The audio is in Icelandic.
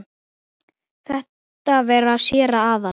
Þetta var séra Aðal